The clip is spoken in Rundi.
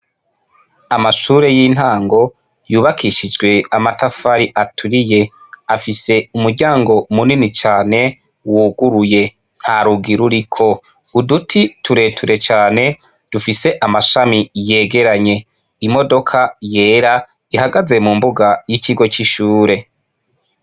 Amashure y'intango yubakishijwe amatafari aturiye; afise umuryango munini cane wuguruye. Nta rugi ruriko. Uduti tureture cane, dufise amashami yegeranye. Imodoka yera ihagaze mu mbuga y'ikigo c'ishure.